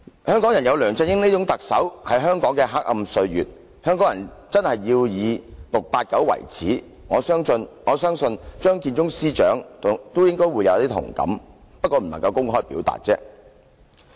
香港人有梁振英這種特首，是香港的黑暗歲月，香港人真的要以 "689" 為耻，我相信張建宗司長也應該會有同感，只是無法公開表達。